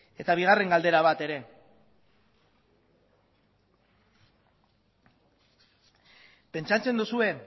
eta bigarren galdera bat ere bai pentsatzen duzue